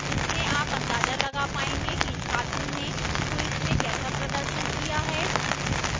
इससे आप अंदाजा लगा पाएंगे कि छात्र ने quiz में कैसा प्रदर्शन किया है